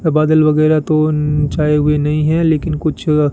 बादल वगैरह तो छाए हुए नहीं है लेकिन कुछ --